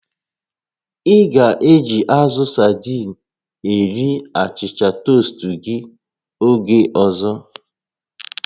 Ị ga-eji azụ sadii a rie achịcha toast gị oge ọzọ